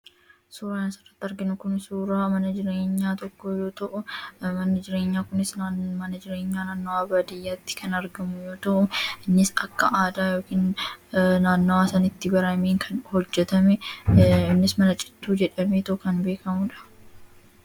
Suuraan asirratti arginu kun suuraa mana jireenyaa tokkoo yoo ta'u, manni jireenyaa kunis mana jireenyaa naannoo baadiyyaatti kan argamu yoo ta'u, innis kan aadaa yookiin naannawaa sanatti baramee hojjatame innis mana citaa jedhamee kan beekamudha.